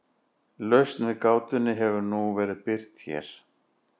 Lausn við gátunni hefur nú verið birt hér.